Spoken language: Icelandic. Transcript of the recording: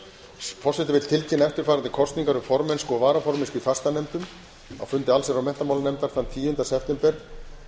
forseti vill tilkynna eftirfarandi kosningar um formennsku og varaformennsku í fastanefndum á fundi allsherjar og menntamálanefndar þann tíunda september